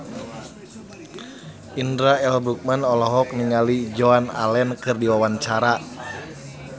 Indra L. Bruggman olohok ningali Joan Allen keur diwawancara